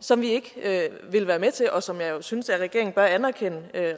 som vi ikke vil være med til og som jeg synes at regeringen bør anerkende